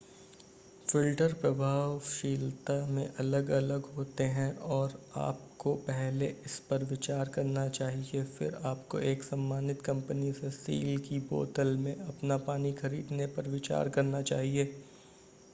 filter प्रभावशीलता में अलग अलग होते हैं और आपको पहले इस पर विचार करना चाहिए फिर आपको एक सम्मानित कंपनी से सील की बोतल में अपना पानी खरीदने पर विचार करना चाहिए